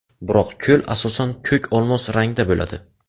Biroq ko‘l asosan ko‘k-olmos rangda bo‘ladi.